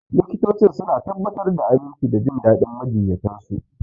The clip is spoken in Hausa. Likitocin suna tabbatar da aminci da jin daɗin majiyyatan su.